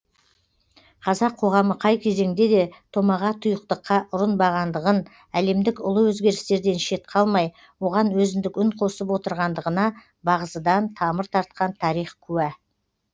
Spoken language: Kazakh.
қазақ қоғамы қай кезеңде де томаға тұйықтыққа ұрынбағандығын әлемдік ұлы өзгерістерден шет қалмай оған өзіндік үн қосып отырғандығына бағзыдан тамыр тартқан тарих куә